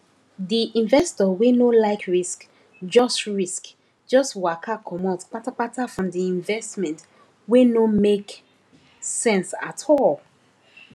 di investor wey no like risk just risk just waka comot patapata from the investment wey no make sense at all